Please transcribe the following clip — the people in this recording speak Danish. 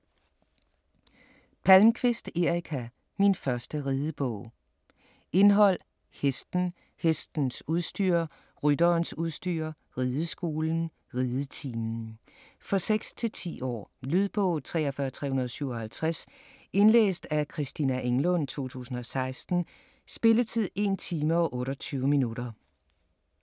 Palmquist, Erika: Min første ridebog Indhold: Hesten ; Hestens udstyr ; Rytterens udstyr ; Rideskolen ; Ridetimen. For 6-10 år. Lydbog 43357 Indlæst af Christina Englund, 2016. Spilletid: 1 time, 28 minutter.